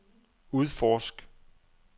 udforsk